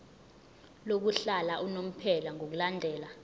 lokuhlala unomphela ngokulandela